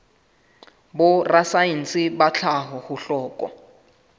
borasaense ba tlhaho ho hlokwa